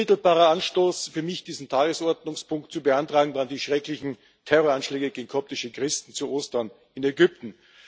Unmittelbarer Anstoß für mich, diesen Tagesordnungspunkt zu beantragen, waren die schrecklichen Terroranschläge gegen koptische Christen zu Ostern in Ägypten.